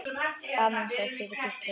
Amen, sagði síra Gísli.